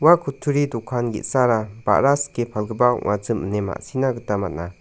ua kutturi dokan ge·sara ba·ra sike palgipa ong·achim ine ma·sina gita man·a.